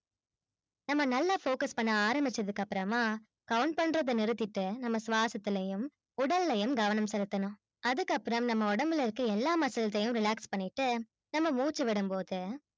நம்ம நல்லா focus பண்ண ஆரம்பிச்சதுக்கப்றமா count பண்றத நிறுத்திட்டு நம்ம ஸ்வாசத்தலையும் உடலையும் கவனம் செலுத்தணும். அதுக்கப்பறம் நம்ம உடம்புல இருக்குற எல்லா muscles யும் relax பண்ணிட்டு நம்ம மூச்சு விடும்போது